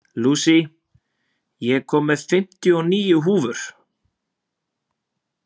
Louise, ég kom með fimmtíu og níu húfur!